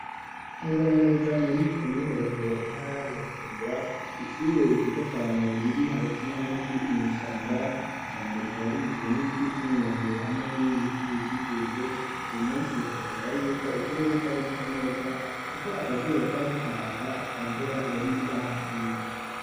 Neza na neza muri komine rohero intara ya bujumbura ishure ryiza cane riri hagati na hagati n'ishamba ishamba rikaba rigizwe n'ibiti vy'imyembere hamwe n'ibindi biti bikikuje ubu munsi rikagagara yuko ikirere cari gise neza kuko akazuba kariko karaka atamvura yari yahaguye.